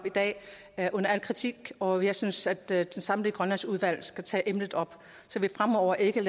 dag er under al kritik og jeg synes at det samlede grønlandsudvalg skal tage emnet op så vi fremover ikke